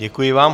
Děkuji vám.